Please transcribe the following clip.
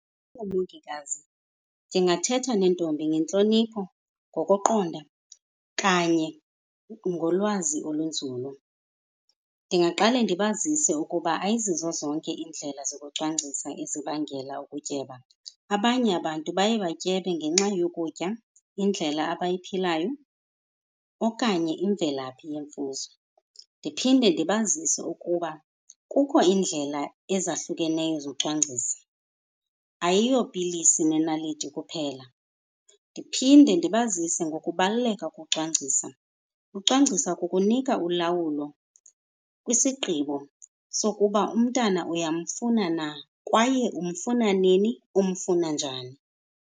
Oomongikazi, ndingathetha neentombi ngentlonipho, ngokuqonda kanye ngolwazi olunzulu. Ndingaqale ndibazise ukuba ayizizo zonke iindlela zokucwangcisa ezibangela ukutyeba. Abanye abantu baye batyebe ngenxa yokutya, indlela abayiphilayo, okanye imvelaphi yemfuzo. Ndiphinde ndibazise ukuba kukho iindlela ezahlukeneyo zocwangcisa, ayiyo pilisi nenaliti kuphela. Ndiphinde ndibazise ngokubaluleka kocwangcisa. Ucwangcisa kukunika ulawulo kwisigqibo sokuba umntana uyamfuna na kwaye umfana nini, umfuna njani.